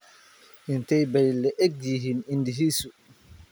Intee bay le'eg yihiin indhihiisu?